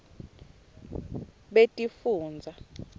betifundza